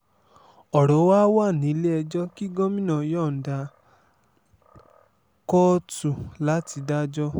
ọ̀rọ̀ wa wà nílẹ̀-ẹjọ́ kí gómìnà yọ̀ǹda kóòtù láti dájọ́